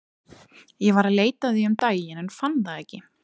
Ég var að leita að því um daginn en fann það ekki.